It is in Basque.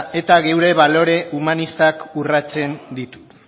eta gure balore humanistak urratzen ditu